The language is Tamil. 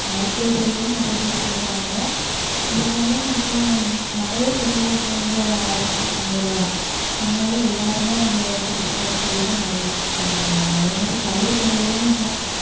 மருத்துவத்துறையில நிறைய பேர் போறாங்க இருந்தாலும் இப்போ நிறைய துறை இப்ப வந்து ஆரம்பிச்சிட்டாங்க இல்ல அதனால எல்லாருமே அந்த புதுசா இருக்கிறதுல நிறைய படிக்கிறாங்க அதே மாதிரி கலைத்துறையிலேயும் இப்போ